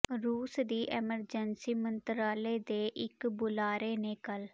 ਰੂਸ ਦੀ ਐਮਰਜੈਂਸੀ ਮੰਤਰਾਲੇ ਦੇ ਇੱਕ ਬੁਲਾਰੇ ਨੇ ਕੱਲ੍ਹ